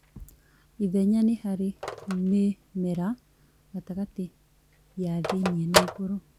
Ithenya nĩ harĩa mĩmera gatagatĩ ya thĩinĩ na igũrũ